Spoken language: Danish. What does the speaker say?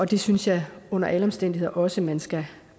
det synes jeg under alle omstændigheder også man skal